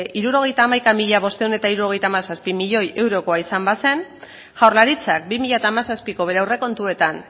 hirurogeita hamaika mila bostehun eta hirurogeita hamazazpi milioi eurokoa izan bazen jaurlaritzak bi mila hamazazpiko bere aurrekontuetan